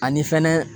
Ani fɛnɛ